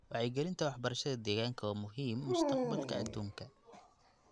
Wacyigelinta waxbarashada deegaanka waa muhiim mustaqbalka adduunka.